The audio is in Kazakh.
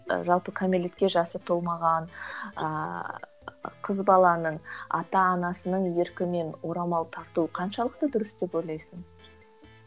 жалпы кәмелетке жасы толмаған ыыы қыз баланың ата анасының еркімен орамал тарту қаншалықты дұрыс деп ойлайсың